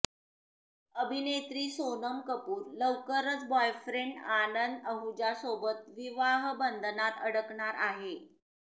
अभिनेत्री सोनम कपूर लवकरच बॉयफ्रेंड आनंद अहुजासोबत विवाहबंधनात अडकणार आहे